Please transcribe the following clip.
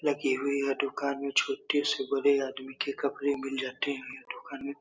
लगी हुई है दुकान में छोटे से बड़े आदमी के कपड़े मिल जाते हैं दुकान में --